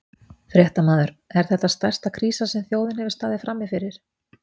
Fréttamaður: Er þetta stærsta krísa sem að þjóðin hefur staðið frammi fyrir?